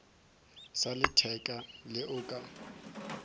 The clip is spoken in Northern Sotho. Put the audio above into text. sa letheka le o ka